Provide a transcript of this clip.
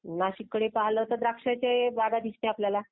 नाशिक कडे पाहिलं तर द्राक्षाच्या बागा. भाग्य दिसतात आपल्याला